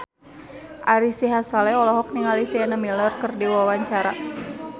Ari Sihasale olohok ningali Sienna Miller keur diwawancara